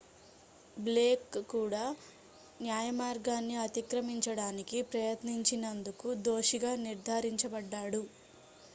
Blake కూడా న్యాయమార్గాన్ని అతిక్రమించడానికి ప్రయత్నించినందుకు దోషిగా నిర్ధారించబడ్డాడు